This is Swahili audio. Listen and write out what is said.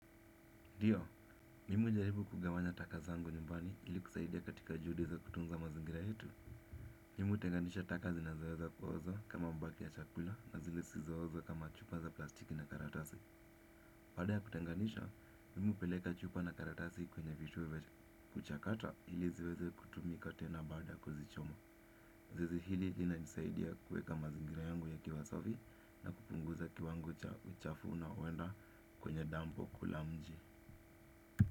Ndio, mimi hujaribu kugawanya taka ziangu nyumbani ili kusaidia katika juhudi za kutunza mazingira yetu. Mimi hutenganisha taka zinazoweza kuoza kama mabaki ya chakula na zile zisizooza kama chupa za plastiki na karatasi. Baada ya kutenganisha, mimi hupeleka chupa na karatasi kwenye vituo vya. Kuchakata ili ziweze kutumika tena baada ya kuzichoma. Zoezi hili linanisaidia kuweka mazingira yangu yakiwa safi na kupunguza kiwango cha uchafu na huwenda kwenye dampu kule mji.